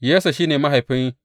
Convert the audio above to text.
Yesse shi ne mahaifin.